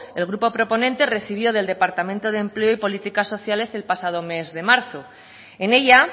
el grupo proponente recibió del departamento de empleo y políticas sociales el pasado mes de marzo en ella